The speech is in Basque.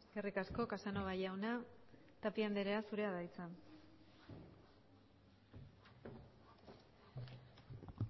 eskerrik asko casanova jauna tapia andrea zurea da hitza